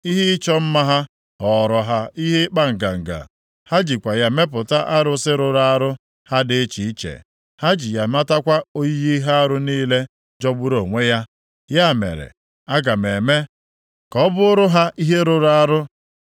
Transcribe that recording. Ihe ịchọ mma ha ghọọrọ ha ihe ịkpa nganga, ha jikwa ya mepụta arụsị rụrụ arụ ha dị iche iche. Ha ji ya metakwa oyiyi ihe arụ niile jọgburu onwe ya; ya mere, aga m eme ka ọ bụụrụ ha ihe rụrụ arụ.